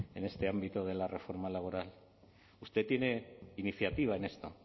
en este ámbito de la reforma laboral usted tiene iniciativa en esto